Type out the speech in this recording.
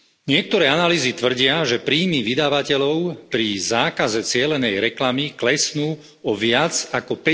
Niektoré analýzy tvrdia, že príjmy vydavateľov pri zákaze cielenej reklamy klesnú o viac ako